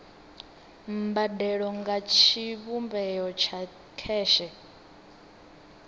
mbadelo nga tshivhumbeo tsha kheshe